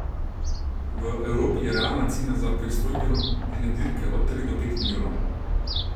V Evropi je realna cena za pristojbino ene dirke od tri do pet milijonov.